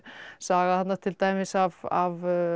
saga þarna til dæmis af